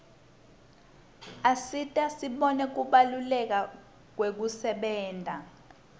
asisita sibone kubaluleka kwekusebenta